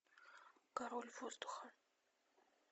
король воздуха